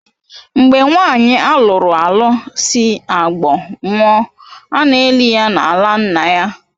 Mgbe nwanyi alụru alụ sị Agbor nwụọ, ana elị ya n'ala nna-ya.